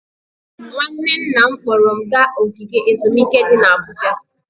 Nwanne nna m kpọọrọ m gaa ogige ezumike dị n'Abuja.